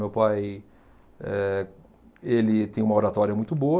Meu pai, eh ele tem uma oratória muito boa,